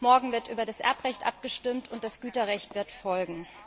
Morgen wird über das Erbrecht abgestimmt und das Güterrecht wird folgen.